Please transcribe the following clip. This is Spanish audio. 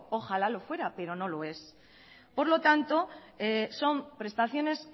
ojalá lo fuera pero no lo es por lo tanto son prestaciones